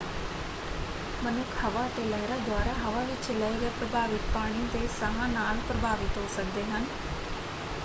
ਮਨੁੱਖ ਹਵਾ ਅਤੇ ਲਹਿਰਾਂ ਦੁਆਰਾ ਹਵਾ ਵਿੱਚ ਲਏ ਗਏ ਪ੍ਰਭਾਵਿਤ ਪਾਣੀ ਦੇ ਸਾਹ ਨਾਲ ਪ੍ਰਭਾਵਿਤ ਹੋ ਸਕਦੇ ਹਨ।